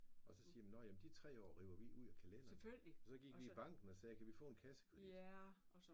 Og så siger nåh ja de 3 år dem river vi ud af kalenderen og så gik vi i banken og sagde kan vi få en kassekredit?